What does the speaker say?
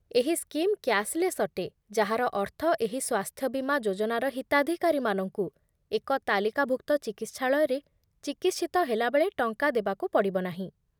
ଏହି scheme cashless ଅଟେ, ଯାହାର ଅର୍ଥ ଏହି ସ୍ୱାସ୍ଥ୍ୟ ବୀମା ଯୋଜନାର ହିତାଧିକାରୀମାନଙ୍କୁ ଏକ ତାଲିକାଭୁକ୍ତ ଚିକିତ୍ସାଳୟରେ ଚିକିତ୍ସିତ ହେଲାବେଳେ ଟଙ୍କା ଦେବାକୁ ପଡ଼ିବ ନାହିଁ